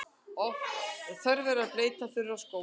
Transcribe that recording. Þörf er að bleyta þurra skó.